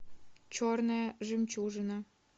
черная жемчужина